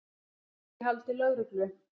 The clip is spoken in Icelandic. Þrír í haldi lögreglu